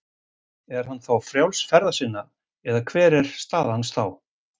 Er hann þá frjáls ferða sinna eða hver er staðan þá?